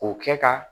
O kɛ ka